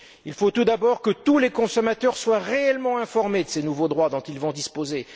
Il faut tout d'abord que tous les consommateurs soient réellement informés de ces nouveaux droits dont ils vont disposer.